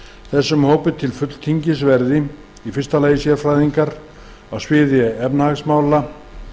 þessum hópi til fulltingis verði fyrsta sérfræðingar á sviði efnahagsmála